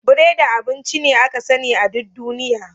Biredi abinci ne aka sani a duk duniya.